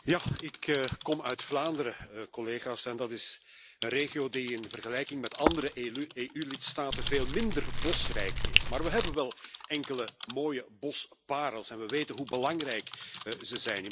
Ik kom uit Vlaanderen, collega's, en dat is een regio die in vergelijking met andere EU lidstaten veel minder bosrijk is, maar we hebben wel enkele mooie bosparels en we weten hoe belangrijk ze zijn.